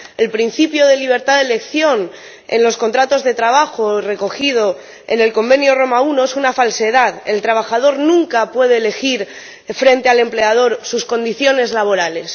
el principio de libertad de elección en los contratos de trabajo, recogido en el Reglamento Roma I, es una falsedad el trabajador nunca puede elegir frente al empleador sus condiciones laborales.